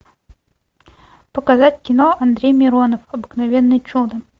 показать кино андрей миронов обыкновенное чудо